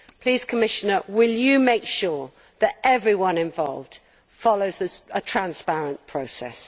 Please Commissioner, will you make sure that everyone involved follows a transparent process?